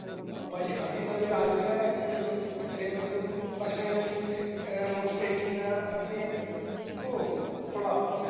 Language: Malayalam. ഓ അപ്പൊ അരി അഭി നല്ലൊരു ആരോഗ്യവാനായിരിക്കുമല്ലോ ഇത്രയും അധികം ഭക്ഷണങ്ങളിൽ ഏഹ് നോക്കി കഴിക്കുന്ന അഭിയെ ഓഹ് കൊള്ളാം.